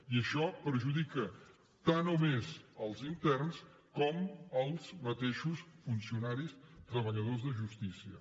i això perjudica tant o més els interns com els mateixos funcionaris treballadors de justícia